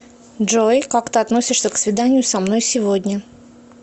джой как ты относишься к свиданию со мной сегодня